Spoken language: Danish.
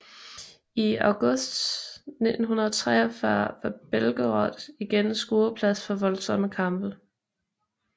I August 1943 var Belgorod igen skueplads for voldsomme kampe